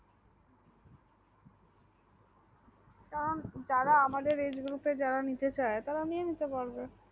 কারণ যারা আমাদের age গুলোতে নিতে চাই তারা নিতে পারে